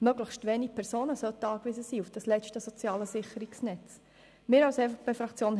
Möglichst wenige Personen sollten auf dieses letzte soziale Sicherungsnetz angewiesen sein.